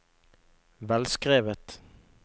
velskrevet